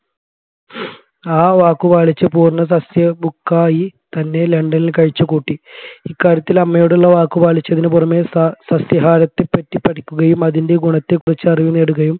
ആ വാക്കു പാലിച്ചു പൂർണ്ണ സസ്യ book ക്കായി തന്നെ ലണ്ടനിൽ കഴിച്ചു കൂട്ടി ഇക്കാര്യത്തിൽ അമ്മയോടുള്ള വാക്കു പാലിച്ചത്തിന് പുറമെ സ സസ്യാഹാരത്തെപ്പറ്റി പഠിക്കുകയും അതിൻെറ ഗുണത്തെ കുറിച്ച് അറിവ് നേടുകയും